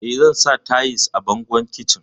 Eh, zan sa tayis a bangon kicin.